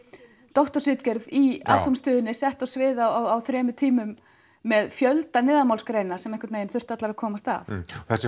doktorsritgerð í sett á svið á þremur tímum með fjölda neðanmálsgreina sem þurftu allar að komast að þessi